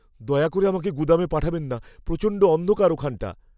দয়া করে আমাকে গুদামে পাঠাবেন না। প্রচণ্ড অন্ধকার ওখানটা।